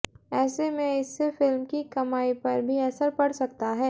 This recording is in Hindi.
ऐसे में इससे फिल्म की कमाई पर भी असर पड़ सकता है